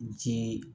Ci